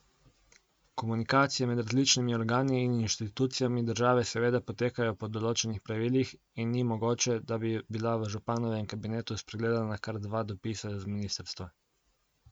Komunikacije med različnimi organi in inštitucijami države seveda potekajo po določenih pravilih in ni mogoče, da bi bila v županovem kabinetu spregledana kar dva dopisa z ministrstva.